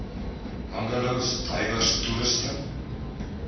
bungalows diverse toerusting